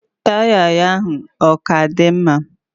Taya ya ahụ oka di mma?